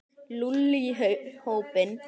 Lúlli í hópinn.